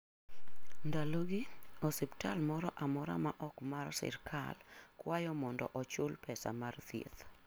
Ndalogi, osiptal moro amora ma ok mar sirkal kwayo mondo ochul pesa mar thieth.